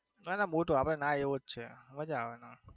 ના ના મોટો આપડે નાઈ એવો જ છે મજા આવે નાવની.